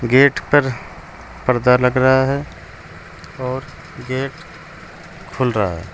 Gate पर पर्दा लगा रहा है और गेट खुल रहा है।